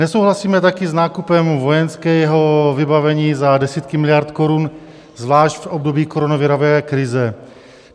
Nesouhlasíme také s nákupem vojenského vybavení za desítky miliard korun, zvlášť v období koronavirové krize.